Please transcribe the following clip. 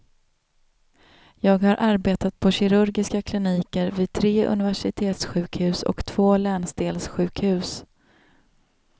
Jag har arbetat på kirurgiska kliniker vid tre universitetssjukhus och två länsdelssjukhus.